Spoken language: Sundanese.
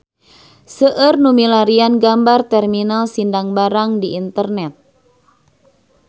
Seueur nu milarian gambar Terminal Sindang Barang di internet